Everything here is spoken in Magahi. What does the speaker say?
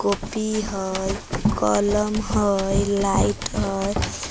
कौपी हई कलम हई लाइट है।